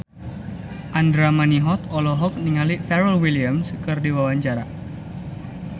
Andra Manihot olohok ningali Pharrell Williams keur diwawancara